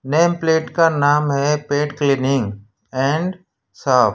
Name plate का नाम है पेट क्लीनिंग एंड शॉप ।